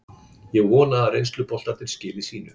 Ég vona að reynsluboltarnir skili sínu.